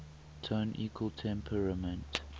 tone equal temperament